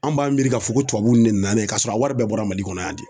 An b'an miiri k'a fɔ ko tubabu de nana ye k'a sɔrɔ a wari bɛɛ bɔra Mali kɔnɔ yan de